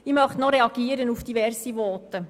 Ich möchte noch auf diverse Voten reagieren.